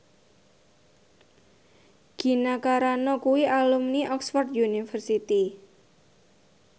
Gina Carano kuwi alumni Oxford university